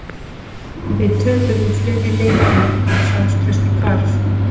Við töpuðum fleiri leikjum og sjálfstraustið hvarf.